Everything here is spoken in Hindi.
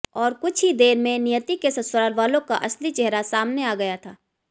और कुछ ही देर में नियति के ससुरालवालों का असली चेहरा सामने आ गया था